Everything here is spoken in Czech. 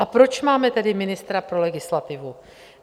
A proč máme tedy ministra pro legislativu?